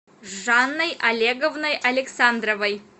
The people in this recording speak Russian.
жанной олеговной александровой